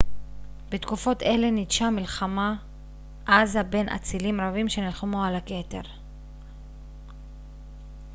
בתקופות אלה ניטשה מלחמה עזה בין אצילים רבים שנלחמו על הכתר